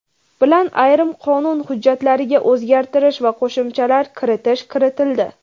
bilan ayrim qonun hujjatlariga o‘zgartirish va qo‘shimchalar kiritish kiritildi.